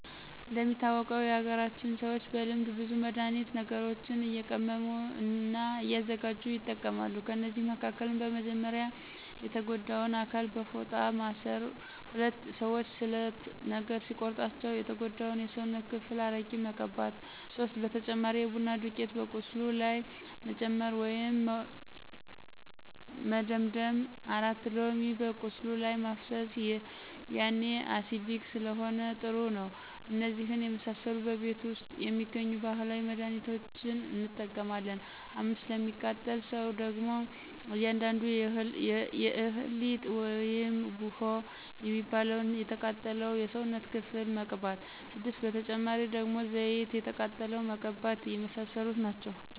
እንደሚታወቀው የሀገራችን ሰዎች በልምድ ብዙ መድሀኒት ነገሮችንእየቀመሙ እና እያዘጋጅ ይጠቀማሉ ከእነዚህ መካከልም። 1 :-በመጀመርያ የተጎዳውን አካል በፎጣ ማስር 2:-ሰዎች ስለት ነገር ሲቆርጣቸው የተጎዳው የስውነት ክፍል አረቂ መቅባት 3:-በተጨማሪ የቡና ዱቂት በቁስሉ ላይ መጨመር ወይም መደምደም 4:-ሎሚ በቁስሉ ላይ ማፍሰሰ ያኔ አሲዲክ ስለሆነ ጥሩ ነው እነዚህን የመሰሉ በቤት ውስጥ የሚገኙ ባህላዊ መድህኒቶችን እንጠቀማለን። 5፦ ለሚቃጠል ሰው ደግሞ አንዳንዱ የእህል ሊጥ ውይም ቡሆ የሚባለውን የተቃጠለው የሰውነት ክፍል መቅባት 6:- በተጨማሪ ደግሞ ዘይት የተቃጠለውን መቀባተ የመሳሰሉት ናቸው